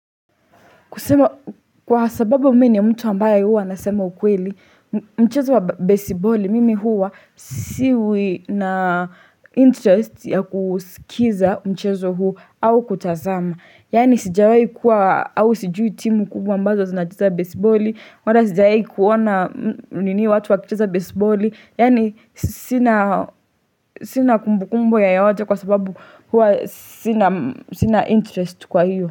Kwasababu mi ni mtu ambaye huwa nasema ukweli, mchezo wa besiboli mimi huwa siwi na interest ya kusikiza mchezo huu au kutazama. Yani sijawahi kuwa au sijui timu kubwa mbazo zinacheza besiboli, wala sijawahi kuona nini watu wakicheza besiboli, yani sina sina kumbukumbu ya yote kwa sababu huwa sina interest kwa hiyo.